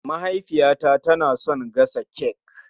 Mahaifiyata na son gasa cek